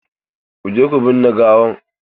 Ku je ku binne gawan!